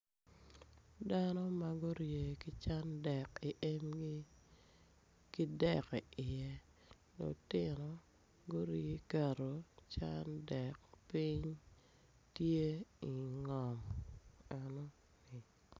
Dano ma gurye ki cwan dek i emgi ki dek iye lutino aye guketo cwan dek piny tye i ngom enu.